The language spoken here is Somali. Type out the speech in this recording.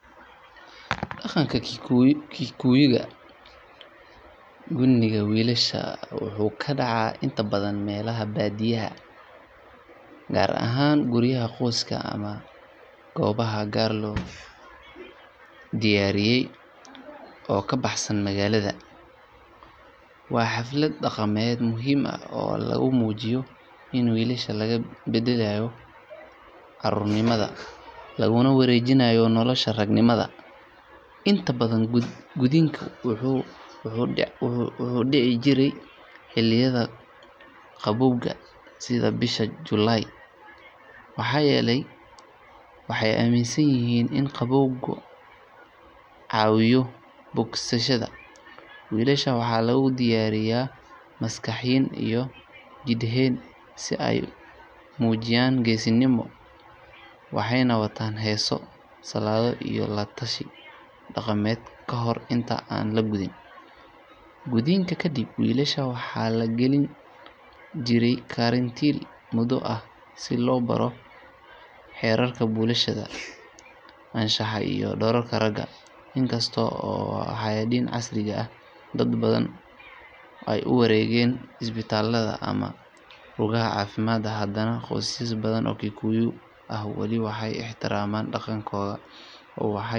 Dhaqanka Kikuyu-ga, gudniinka wiilasha wuxuu ka dhacaa inta badan meelaha baadiyaha ah gaar ahaan guryaha qoysaska ama goobaha gaar loo diyaariyay oo ka baxsan magaalada. Waa xaflad dhaqameed muhiim ah oo lagu muujiyo in wiilasha laga bedelayo caruurnimada laguna wareejinayo nolosha raganimada. Inta badan gudniinka wuxuu dhici jiray xilliyada qabowga sida bisha July maxaa yeelay waxay aaminsan yihiin in qabowgu caawiyo bogsashada. Wiilasha waxaa lagu diyaariyaa maskaxiyan iyo jidheed si ay u muujiyaan geesinimo, waxayna wataan heeso, salaado iyo la tashi dhaqameed ka hor inta aan la gudin. Gudniinka kaddib, wiilasha waxaa la gelin jiray karantiil muddo ah si loo baro xeerarka bulshada, anshaxa iyo doorka ragga. Inkasta oo waayadan casriga ah dad badan ay u wareegeen isbitaalada ama rugaha caafimaad, haddana qoysas badan oo Kikuyu ah wali waxay ixtiraamaan dhaqanka oo waxay ku dadaalaan in la ilaaliyo muhiimadda dhaqanka iyo waxbarista nolosha ragganimo.